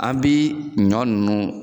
An bi ɲɔn ninnu